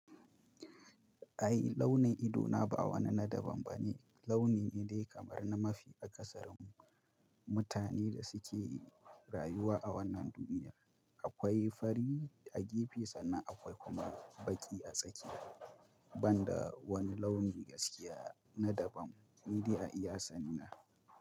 Ai launin ido na ba wani na daban bane, launi ne dai kamar na mafi akasarin mutane da suke rayuwa a wannan duniya. Akwai fari a gefe, sanna kuma akwai baki a tsakiya, banda wani launi gaskiya na daban ni dai a iya sani na.